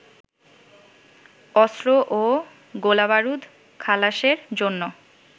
অস্ত্র ও গোলাবারুদ খালাসের জন্য